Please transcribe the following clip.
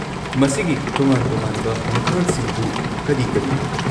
ꯃꯁꯤꯒꯤ ꯇꯣꯉꯥꯟ-ꯇꯣꯉꯥꯟꯕ ꯃꯈꯜꯁꯤꯡꯗꯨ ꯀꯔꯤ ꯀꯔꯤꯅꯣ?